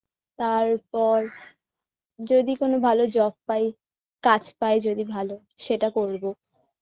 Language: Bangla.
তারপর যদি কোন ভাল job পাই কাজ পাই যদি ভাল সেটা করব